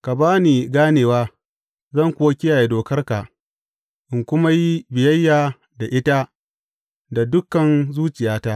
Ka ba ni ganewa, zan kuwa kiyaye dokarka in kuma yi biyayya da ita da dukan zuciyata.